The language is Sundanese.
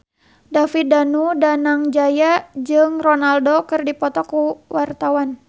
David Danu Danangjaya jeung Ronaldo keur dipoto ku wartawan